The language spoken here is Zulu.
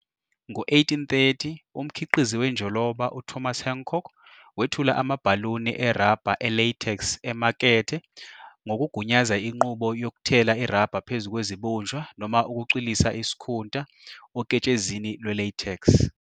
Ngo-1830, umkhiqizi wenjoloba uThomas Hancock wethula amabhaluni erabha e-latex emakethe ngokugunyaza inqubo yokuthela irabha phezu kwezibunjwa noma ukucwilisa isikhunta oketshezini lwe-latex.